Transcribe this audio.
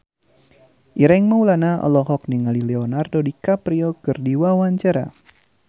Ireng Maulana olohok ningali Leonardo DiCaprio keur diwawancara